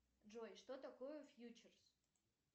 джой что такое фьючерс